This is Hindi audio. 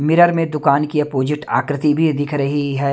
मिरर में दुकान की अपॉजिट आकृति भी दिख रही है।